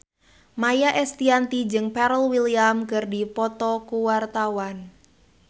Maia Estianty jeung Pharrell Williams keur dipoto ku wartawan